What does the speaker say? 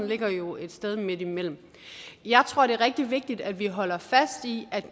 ligger jo et sted midtimellem jeg tror det er rigtig vigtigt at vi holder fast i at